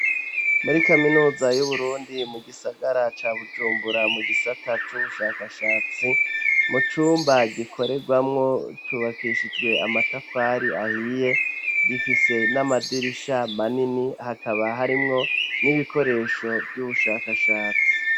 muri kaminuza y'uburundi mu gisagara ca bujumbura mu gisata c'ubushakashatsi mu cumba gikoregwamwo cyubakishijwe amatafari ahiye gifise n'amadirisha manini hakaba harimwo n'ibikoresho by'ubushakashatsi